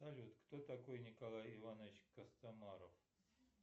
салют кто такой николай иванович костомаров